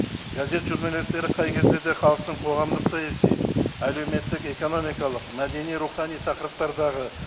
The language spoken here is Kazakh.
газет журналистері қай кезде де халықтың қоғамдық саяси әлеуметтік экономикалық мәдени рухани тақырыптардағы